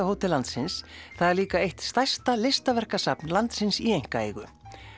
hótel landsins þar er líka eitt stærsta listaverkasafn landsins í einkaeigu